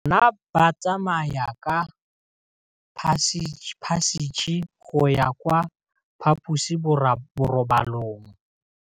Bana ba tsamaya ka phašitshe go ya kwa phaposiborobalong.